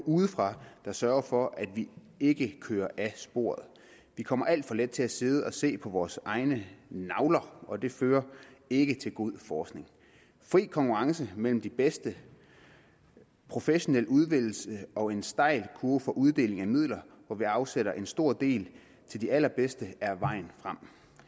udefra der sørger for at vi ikke kører af sporet vi kommer alt for let til at sidde og se på vores egne navler og det fører ikke til god forskning fri konkurrence mellem de bedste professionel udvælgelse og en stejl kurve for uddeling af midler hvor vi afsætter en stor del til de allerbedste er vejen frem